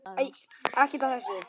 Ekkert af þessu.